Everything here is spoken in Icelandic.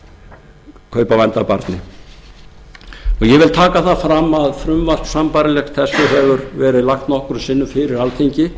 vændi af barni ég vil taka það fram að frumvarp sambærilegt þessu hefur verið lagt nokkrum sinnum fyrir alþingi